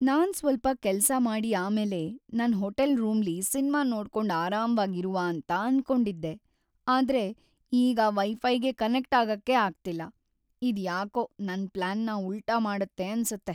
ನಾನ್ ಸ್ವಲ್ಪ ಕೆಲ್ಸ ಮಾಡಿ ಆಮೇಲ್ ನನ್ ಹೋಟೆಲ್ ರೂಮ್ಲಿ ಸಿನ್ಮಾ ನೋಡ್ಕೊಂಡ್ ಅರಾಮ್ವಾಗಿ ಇರುವ ಅಂತ ಅನ್ಕೊಂಡಿದ್ದೆ, ಆದ್ರೆ ಈಗ ವೈಫೈಗೆ ಕನೆಕ್ಟ್ ಆಗಕೆ ಆಗ್ತಿಲ್ಲ, ಇದ್ ಯಾಕೋ ನನ್ ಪ್ಲಾನ್ನ ಉಲ್ಟಾ ಮಾಡುತ್ತೆ ಅನ್ಸುತ್ತೆ.